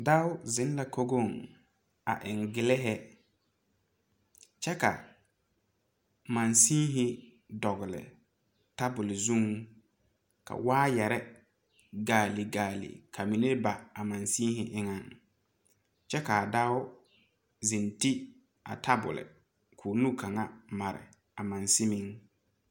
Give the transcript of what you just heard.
Dao zeŋ la kogoŋ a eŋ giliihi kyɛ ka mansenhi dɔgle tabole zuŋ ka waayarre gaale gaale ka mine ba a mansenhi eŋɛŋ kyɛ kaa dao zeŋ ti a tabole ko nu kaŋa mare a mansemiŋ.